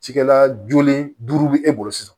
Cikɛla jolen duuru bɛ e bolo sisan